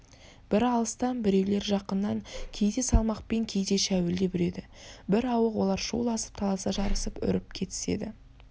бірі алыстан біреулері жақыннан кейде салмақпен кейде шәуілдеп үреді бірауық олар шуласып таласа жарысып үріп кетіседі